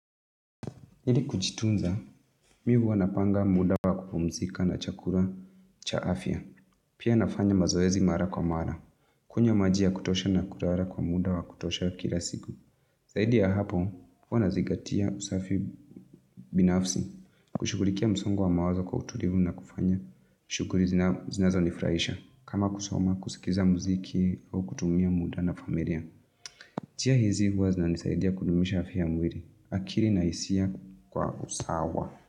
Ili kujitunza, mi huwa napanga muda wa kupumzika na chakura cha afya, pia nafanya mazoezi mara kwa mara. Kunywa majia ya kutosha na kulara kwa muda wa kutosha kira siku. Saidi ya hapo, huwa na zingatia usafi binafsi. Kushugulikia msongo wa mawazo kwa utulivu na kufanya. Shuguri zinazo nifraisha. Kama kusoma, kusikiza mziki, au kutumia muda na familia. Njia hizi huwa zinanisaidia kudumisha afya mwili. Akili na hisia kwa usawa.